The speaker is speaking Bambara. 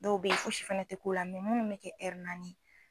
Dɔw bɛ ye fosi fɛnɛ tɛ k'o la munnu mɛ kɛ naani ye